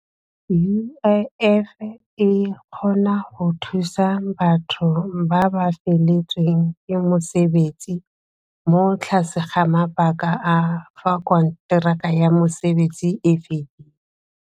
U_I_F e kgona go thusa batho ba ba feletsweng ke mosebetsi mo tlase ga mabaka a fa konteraka ya mosebetsi fedile.